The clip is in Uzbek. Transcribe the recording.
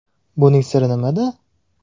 Buning siri nimada?